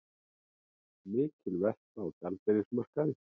Mikil velta á gjaldeyrismarkaði